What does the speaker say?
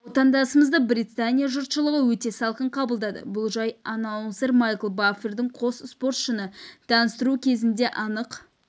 отандасымызды британия жұртшылығы өте салқын қабылдады бұл жай аннаунсер майкл баффердің қос спортшыны таныстыруы кезінде анық